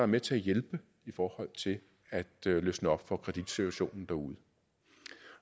med til at hjælpe i forhold til at løsne op for kreditsituationen derude